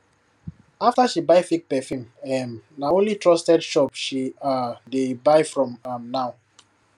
after she buy fake perfume um na only trusted shop she um dey buy from um now